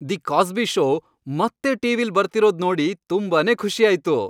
The Cosby show ಮತ್ತೆ ಟಿ.ವಿ.ಲ್ ಬರ್ತಿರೋದ್ ನೋಡಿ ತುಂಬಾನೇ ಖುಷಿ ಆಯ್ತು.